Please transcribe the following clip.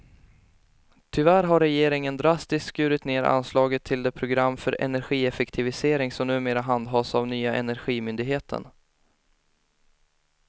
Tyvärr har regeringen drastiskt skurit ned anslaget till det program för energieffektivisering som numera handhas av nya energimyndigheten.